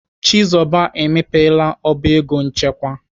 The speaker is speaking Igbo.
Chizoba emepela ọba ego nchekwa.